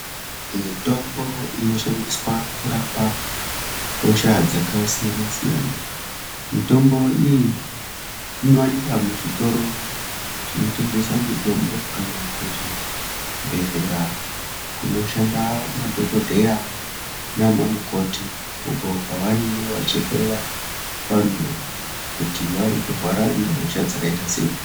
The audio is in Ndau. Mitombo inoshandiswa kurapa hosha dzakasiyana-siyana. Mitombo iyi inowanikwa muzvitoro zvinotengesa mitombo kana kuzvibhehlera kunoshanda madhokodheya nana mukoti uko kwavanenge vachihloya vantu kuti varikurwara ngehosha dzakaita sei.